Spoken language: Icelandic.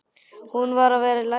Hún varð að vera í lagi.